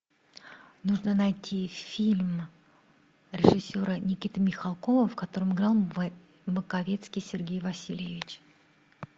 нужно найти фильм режиссера никиты михалкова в котором играл маковецкий сергей васильевич